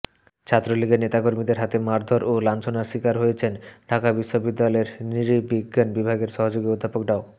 ছাত্রলীগের নেতাকর্মীদের হাতে মারধর ও লাঞ্ছনার শিকার হয়েছেন ঢাকা বিশ্ববিদ্যালয়ের নৃবিজ্ঞান বিভাগের সহযোগী অধ্যাপক ড